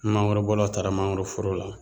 Mangorobɔlaw taara mangoroforo la